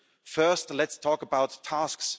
First, let's talk about tasks.